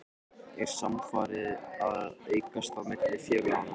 Er samstarfið að aukast á milli félaganna?